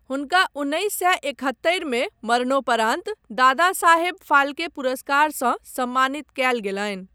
हुनका उन्नैस सए एकहत्तरिमे मरणोपरान्त दादा साहेब फाल्के पुरस्कारसँ सम्मानित कयल गेलनि।